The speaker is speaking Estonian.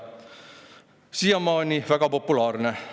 Siiamaani väga populaarne.